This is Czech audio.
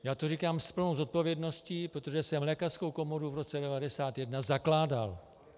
Já to říkám s plnou odpovědností, protože jsem lékařskou komoru v roce 1991 zakládal.